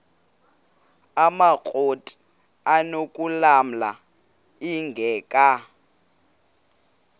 amakrot anokulamla ingeka